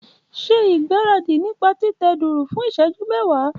Ṣe ìgbáradì nípa títẹ dùùrù fún ìṣẹ́jú mẹ́wàá.